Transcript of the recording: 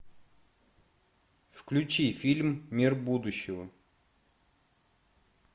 включи фильм мир будущего